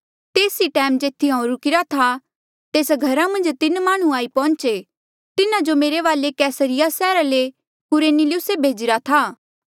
तेस ई टैम जेथी हांऊँ रुकिरा था तेस घरा मन्झ तीन माह्णुं आई पौहुंचे तिन्हा जो मेरे वाले कैसरिया सैहरा ले कुरनेलियुसे भेजिरा था